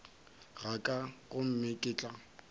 ga ka gomme ke tla